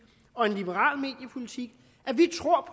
og en liberal mediepolitik at vi tror